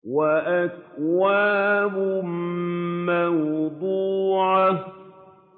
وَأَكْوَابٌ مَّوْضُوعَةٌ